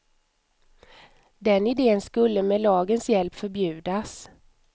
Den idén skulle med lagens hjälp förbjudas.